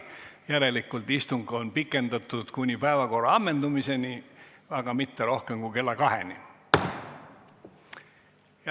Järelikult on istungit pikendatud kuni päevakorra ammendamiseni, aga mitte rohkem kui kella kaheni.